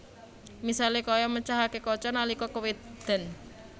Misalé kaya mecahaké kaca nalika kewéden